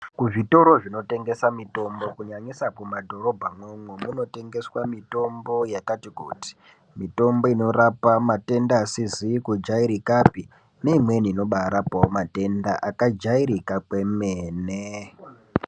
Kuzvitoro zvinotengesa mitombo kunyanyisa kumadhorobha umwomwo munotengeswa mitombo yakati kuti, mitombo inorapa matenda asizikujairikapi neimweni inorapa matenda akajairika kwemene.